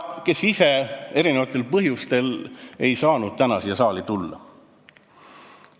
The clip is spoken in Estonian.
... kes ise eri põhjustel ei saanud täna siia saali tulla.